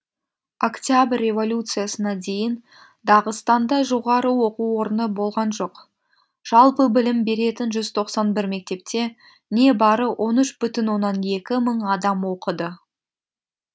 октябрь революциясына дейін дағыстанда жоғары оқу орыны болған жоқ жалпы білім беретін жүз тоқсан бір мектепте не бары он үш бүтін оннан екі мың адам оқыды